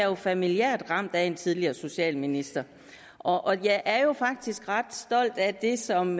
er familiært ramt af en tidligere socialminister og og jeg er faktisk ret stolt af det som